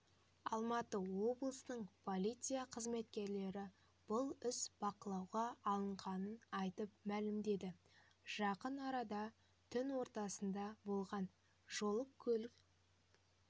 алматы облысының полиция қызметкерлері бұл іс бақылауға алынғанын айтып мәлімдеді жақын арада түн ортасынада болған жол-көлік